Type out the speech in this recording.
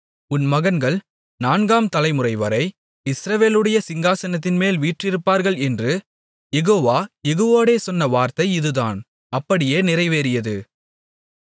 உன் மகன்கள் நான்காம் தலைமுறைவரை இஸ்ரவேலுடைய சிங்காசனத்தின்மேல் வீற்றிருப்பார்கள் என்று யெகோவா யெகூவோடே சொன்ன வார்த்தை இதுதான் அப்படியே நிறைவேறியது